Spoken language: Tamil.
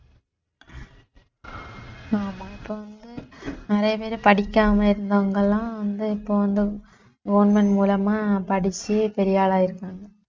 ஆமா இப்ப வந்து நிறைய பேரு படிக்காம இருந்தவங்கெல்லாம் வந்து இப்ப வந்து government மூலமா படிச்சு பெரிய ஆளாயிருக்காங்க